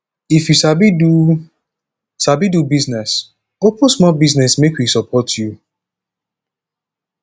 if you sabi do sabi do business open small business make we support you